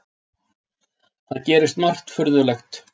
Það gerist margt furðulegt.